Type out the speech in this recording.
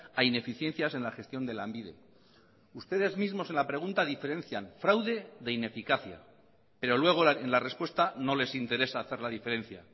a ineficiencias en la gestión de lanbide ustedes mismos en la pregunta diferencian fraude de ineficacia pero luego en la respuesta no les interesa hacer la diferencia